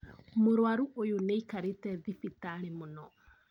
Mũrwarũ ũyũ nĩakarĩte thibitarĩ mũno